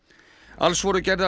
alls voru gerðar